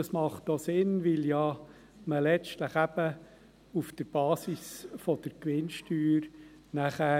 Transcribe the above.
Dies macht auch Sinn, weil man ja letztlich nachher die Belastung auf der Basis der Gewinnsteuer hat.